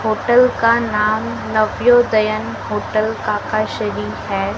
Hotel का नाम Navodayan hotel Kaka Shri है।